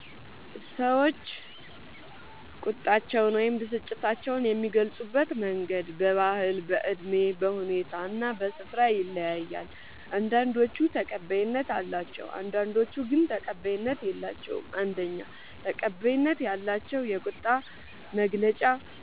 ሰዎች ቁጣቸውን ወይም ብስጭታቸውን የሚገልጹበት መንገድ በባህል፣ በእድሜ፣ በሁኔታ እና በስፍራ ይለያያል። አንዳንዶቹ ተቀባይነት አላቸው፣ አንዳንዶቹ ግን ተቀባይነት የላቸዉም። ፩. ተቀባይነት ያላቸው የቁጣ መግለጫ